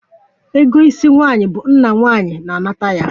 Ego isi nwaanyi bụ nna nwaanyi na-anata ya